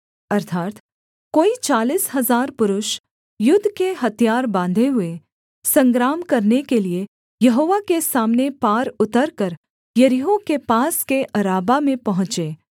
अर्थात् कोई चालीस हजार पुरुष युद्ध के हथियार बाँधे हुए संग्राम करने के लिये यहोवा के सामने पार उतरकर यरीहो के पास के अराबा में पहुँचे